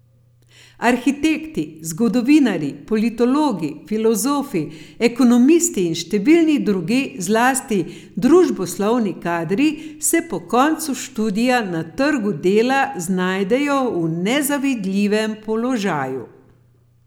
Arhitekti, zgodovinarji, politologi, filozofi, ekonomisti in številni drugi, zlasti družboslovni kadri, se po koncu študija na trgu dela znajdejo v nezavidljivem položaju.